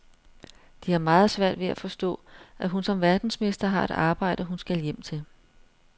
De har meget svært ved at forstå, at hun som verdensmester har et arbejde, hun skal hjem til.